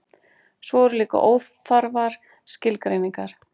svo eru líka óþarfar skilgreiningar